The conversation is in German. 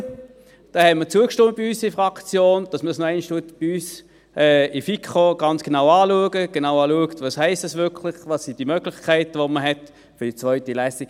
Wir haben in der Fraktion zugestimmt, dass man dies bei uns in der FiKo noch einmal ganz genau anschaut, genau schaut, was es heisst und welche Möglichkeiten man hat für die zweite Lesung.